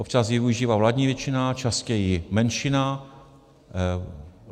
Občas ji využívá vládní většina, častěji menšina.